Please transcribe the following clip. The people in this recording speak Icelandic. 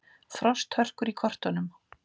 Frosthörkur í kortunum